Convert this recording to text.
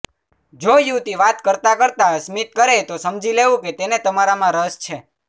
જો યુવતી વાત કરતાં કરતાં સ્મિત કરે તો સમજી લેવું કે તેને તમારામાં રસ છે